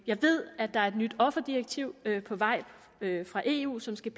jeg ved at der er et nyt offerdirektiv på vej fra eu som skal